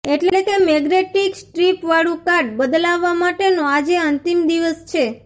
એટલે કે magnetic strip વાળુ કાર્ડ બદલાવવા માટેનો આજે અંતિમ દિવસ છે